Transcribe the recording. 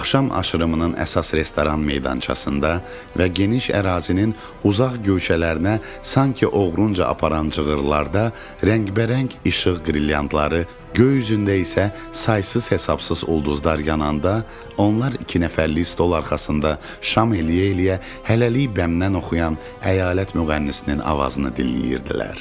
Axşam aşırımının əsas restoran meydançasında və geniş ərazinin uzaq köşələrinə sanki ovunc apalan cığırlarda rəngbərəng işıq brilliantları, göy üzündə isə saysız-hesabsız ulduzlar yananda onlar iki nəfərlik stol arxasında şam eləyə-eləyə hələlik bəmdən oxuyan əyalət müğənnisinin avazını dinləyirdilər.